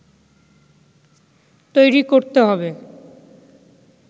তৈরি করতে হবে